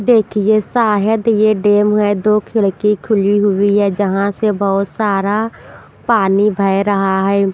देखिए शायद ये डे म है दो खिड़की खुली हुई है जहाँ से बहुत सारा पानी बह रहा है।